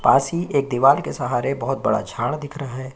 पास ही एक दीवार के सहारे बहोत बड़ा झाड़ दिख रहा है।